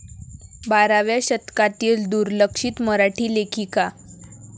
बाराव्या शतकातील दुर्लक्षित मराठी लेखिका.